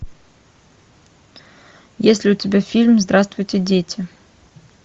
есть ли у тебя фильм здравствуйте дети